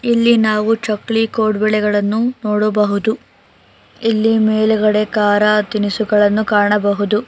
ಇಲ್ಲಿ ನಾವು ಚಕ್ಲಿ ಕೋಡ್ಬಳೆಗಳನ್ನು ನೋಡಬಹುದು ಇಲ್ಲಿ ಮೇಲ್ಗಡೆ ಕಾರ ತಿನಿಸುಗಳನ್ನು ಕಾಣಬಹುದು.